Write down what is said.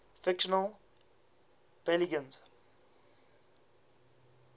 fictional belgians